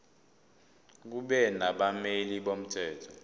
kube nabameli bomthetho